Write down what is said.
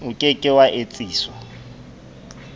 o ke ke wa etsiswa